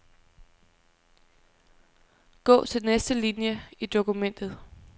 Gå til næste linie i dokumentet.